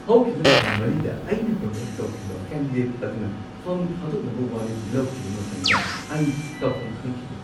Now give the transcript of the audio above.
ꯍꯧꯈꯤꯕ ꯊꯥ ꯃꯔꯤꯗ ꯑꯩꯅ ꯄ꯭ꯔꯃꯣꯠ ꯇꯧꯈꯤꯕ ꯀꯦꯟꯗꯤꯗꯦꯠ ꯑꯗꯨꯅ ꯐꯝ ꯊꯥꯗꯣꯛꯅꯕ ꯋꯥꯔꯦꯞ ꯂꯧꯈꯤꯕ ꯃꯇꯝꯗ ꯑꯩ ꯇꯧꯐꯝ ꯈꯪꯈꯤꯗꯦ ꯫